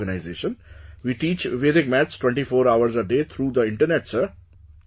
Under that organization, we teach Vedic Maths 24 hours a day through the internet, Sir